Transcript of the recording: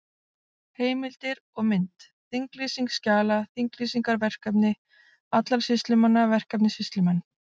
Heimildir og mynd: Þinglýsing skjala Þinglýsingar Verkefni allra sýslumanna Verkefni Sýslumenn.